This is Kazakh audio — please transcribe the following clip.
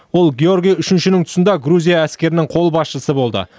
ол георгий үшіншінің тұсында грузия әскерінің қолбасшысы болды